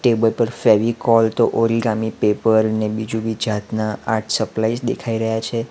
Table પર ફેવીકોલ તો origami paper ને બીજુંબી જાતના આર્ટ સપ્લાયસ દેખાઈ રહ્યા છે.